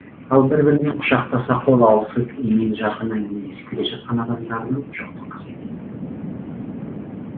ал бір бірімен құшақтаса қол алысып емен жарқын әңгімелесіп келе жатқан адамдардың жоқтың қасы екен